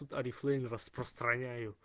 тут орифлэйм распространяю